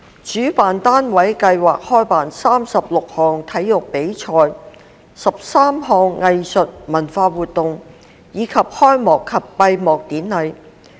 主辦單位計劃舉辦36項體育比賽、13項藝術文化活動，以及開幕及閉幕典禮。